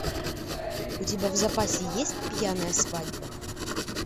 у тебя в запасе есть пьяная свадьба